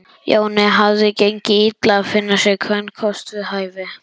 Jóni hafði gengið illa að finna sér kvenkost við hæfi.